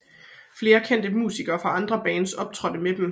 Flere kendte musikere fra andre bands optrådte med dem